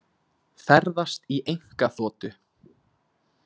Ferðast í einkaþotu